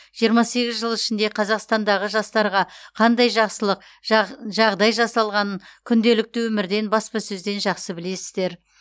жиырма сегіз жыл ішінде қазақстандағы жастарға қандай жақсылық жағдай жасалғанын күнделікті өмірден баспасөзден жақсы білесіздер